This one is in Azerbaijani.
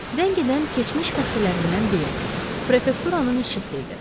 Zəng edən keçmiş xəstələrindən biri, prefekturanın işçisi idi.